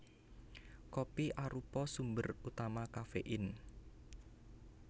Kopi arupa sumber utama kafein